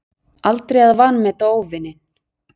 Aldrei að vanmeta óvininn.